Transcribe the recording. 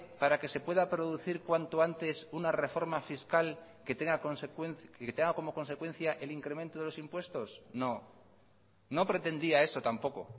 para que se pueda producir cuanto antes una reforma fiscal que tenga como consecuencia el incremento de los impuestos no no pretendía eso tampoco